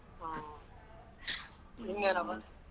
ಇನ್ನೆನ್ನಪ್ಪಾ